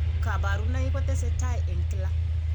Kabarunoik ko tesetai eng' kila.